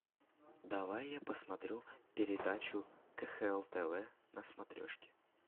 давай я посмотрю передачу кхл тв на смотрешке